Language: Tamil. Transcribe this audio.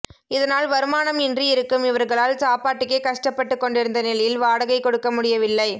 இதனால் வருமானம் இன்றி இருக்கும் இவர்களால் சாப்பாட்டுக்கே கஷ்டப்பட்டுக் கொண்டிருந்த நிலையில் வாடகை கொடுக்க முடியவில்லை